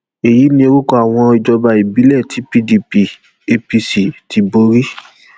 èyí ni orúkọ àwọn ìjọba ìbílẹ tí pdp apc ti borí